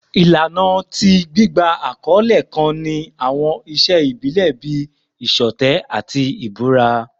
Ilana ti gbigba akọle kan ni awọn iṣe ibile bii iṣọtẹ ati ibura